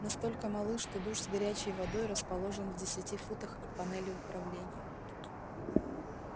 настолько малы что душ с горячей водой расположен в десяти футах от панели управления